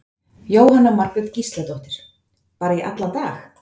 Jóhanna Margrét Gísladóttir: Bara í allan dag?